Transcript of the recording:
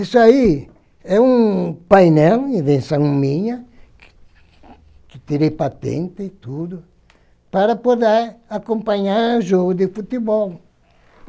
Isso aí é um painel, invenção minha, que que tirei patente e tudo, para poder acompanhar jogo de futebol.